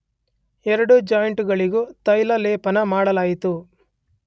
ಎರಡು ಜಾಯಿಂಟ್ ಗಳಿಗೂ ತೈಲಲೇಪನ ಮಾಡಲಾಯಿತು.